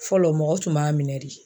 Fɔlɔ mɔgɔ tun b'a minɛ de.